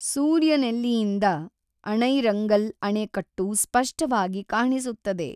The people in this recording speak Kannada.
ಸೂರ್ಯನೆಲ್ಲಿಯಿಂದ ಅಣೈರಂಗಲ್ ಅಣೆಕಟ್ಟು ಸ್ಪಷ್ಟವಾಗಿ ಕಾಣಿಸುತ್ತದೆ.